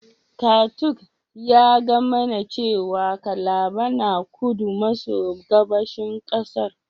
Katung ya gaya mani cewa Calabar yana kudu maso gabashin kasar.